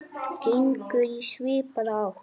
gengur í svipaða átt.